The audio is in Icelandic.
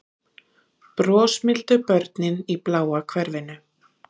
Brosmildu börnin í bláa hverfinu